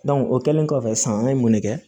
o kɛlen kɔfɛ sisan an ye mun de kɛ